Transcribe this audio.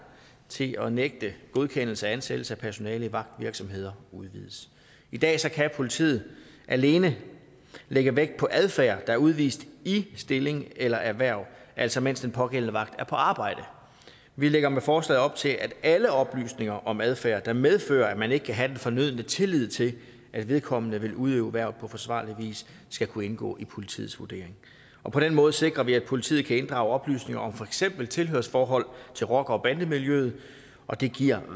til at nægte godkendelse af ansættelse af personale i vagtvirksomheder udvides i dag kan politiet alene lægge vægt på adfærd er udvist i stilling eller erhverv altså mens den pågældende vagt er på arbejde vi lægger med forslaget op til at alle oplysninger om adfærd der medfører at man ikke kan have den fornødne tillid til at vedkommende vil udøve hvervet på forsvarlig vis skal kunne indgå i politiets vurdering på den måde sikrer vi at politiet kan inddrage oplysninger om for eksempel tilhørsforhold til rocker bande miljøet og det giver